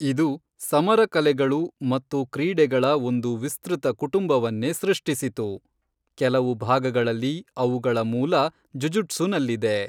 ಇದು ಸಮರ ಕಲೆಗಳು ಮತ್ತು ಕ್ರೀಡೆಗಳ ಒಂದು ವಿಸ್ತೃತ ಕುಟುಂಬವನ್ನೇ ಸೃಷ್ಟಿಸಿತು, ಕೆಲವು ಭಾಗಗಳಲ್ಲಿ ಅವುಗಳ ಮೂಲ ಜುಜುಟ್ಸುನಲ್ಲಿದೆ.